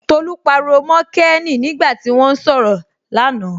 Tolú pariwo mọ Kéènì nígbà tí wọ́n ń sọ̀rọ̀ là na